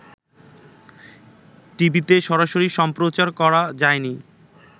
টিভিতে সরাসরি সম্প্রচার করা যায়নি